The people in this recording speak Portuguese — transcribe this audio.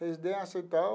Residência e tal.